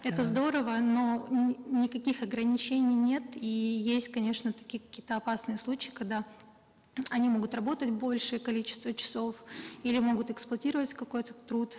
это здорово но никаких ограничений нет и есть конечно такие какие то опасные случаи когда они могут работать большее количество часов или могут эксплуатировать какой то труд